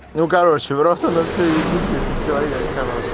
ну короче просто в рот оно всё ебись если человек хороший